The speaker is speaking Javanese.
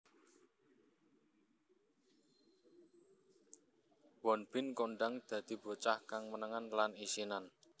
Won Bin kondhang dadi bocah kang menengan lan isinan